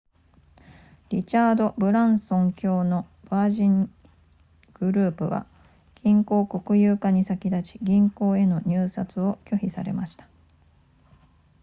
リチャードブランソン卿のヴァージングループは銀行国有化に先立ち銀行への入札を拒否されました